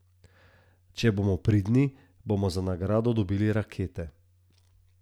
Če bomo pridni, bomo za nagrado dobili rakete.